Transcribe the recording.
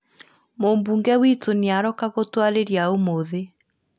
Mũmbunge witu nĩ aroka gũtwarĩria ũmũthĩ